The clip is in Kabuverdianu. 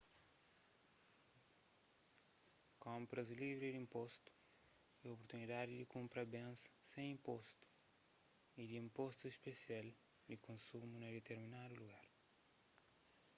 konpras livri di inpostu é oportunidadi di kunpra bens sen inpostus y di inpostu spesial di konsumu na ditirminadu lugar